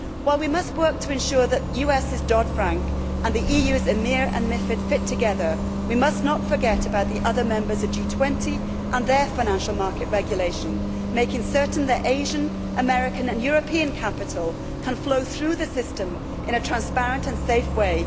While we must work to ensure that Dodd Frank in the US and EMIR and MiFID in the EU fit together, we must not forget about the other members of G20 and their financial market regulation, making certain that Asian, American and European capital can flow through the system in a transparent and safe way.